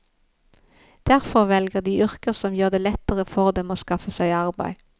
Derfor velger de yrker som gjør det lettere for dem å skaffe seg arbeid.